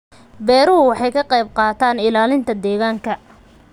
Beeruhu waxay ka qayb qaataan ilaalinta deegaanka.